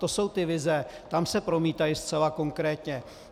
To jsou ty vize, tam se promítají zcela konkrétně.